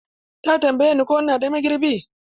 Ta tambaye ni ko ina da magirbi.